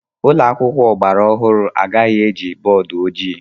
Ụlọ akwụkwọ ọgbara ọhụrụ agaghị eji bọọdụ ojii.